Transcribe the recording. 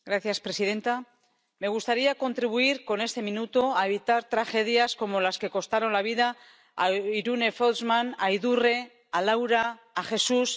Señora presidenta, me gustaría contribuir con este minuto a evitar tragedias como las que costaron la vida a Irune Fautsman, a Idurre, a Laura, a Jesús...,